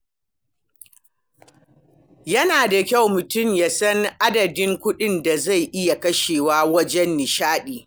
Yana da kyau mutum ya san adadin kuɗin da zai iya kashewa wajen nishaɗi.